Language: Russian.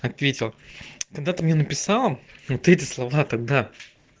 ответил когда ты мне написала ты эти слова тогда